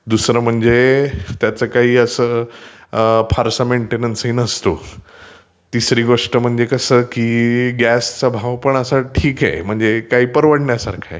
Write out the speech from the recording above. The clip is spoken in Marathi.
दुसरं म्हणजे असं की त्याचा फारसा मेन्टेन्ससपण नसतो, तिसरी गोष्ट म्हणजे ते कसं की गॅसचा भाव पण असा तर ठीक आहे , म्हणजे हे काय परवडण्यासारखं आहे.